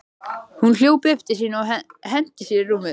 Hún hljóp upp til sín og henti sér í rúmið.